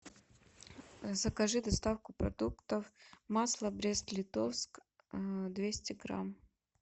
закажи доставку продуктов масло брест литовск двести грамм